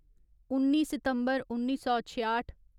उन्नी सितम्बर उन्नी सौ छेआठ